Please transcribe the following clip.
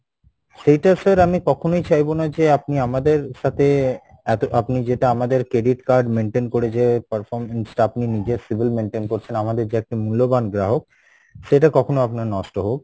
সেইটা sir আমি কখনোই চাইবো না যে আপনি আমাদের সাথে এতো আপনি যেটা আমাদের credit card maintain করে যে performance টা আপনি নিজের civil maintain করছেন আমাদের যে একটা মূল্যবান গ্রাহক, সেটা কখনো আপনার নষ্ট হোক,